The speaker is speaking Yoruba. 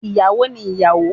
Iyawo ni iyawo